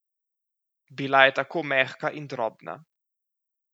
Bila je tako mehka in drobna.